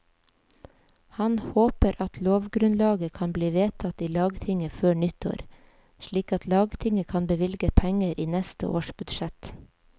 Han håper at lovgrunnlaget kan bli vedtatt i lagtinget før nyttår, slik at lagtinget kan bevilge penger i neste års budsjett.